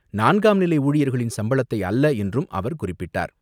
நான்காம் நிலை ஊழியர்களின் சம்பளத்தை அல்ல என்றும் அவர் குறிப்பிட்டார்.